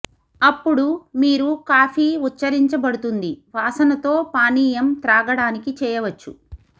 అప్పుడు మీరు కాఫీ ఉచ్ఛరించబడుతుంది వాసన తో పానీయం త్రాగడానికి చేయవచ్చు